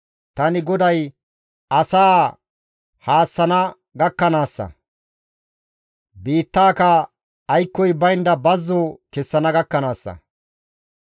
Tani GODAY asaa haassana gakkanaassa; biittaaka aykkoy baynda bazzo kessana gakkanaassa.